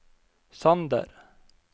Sander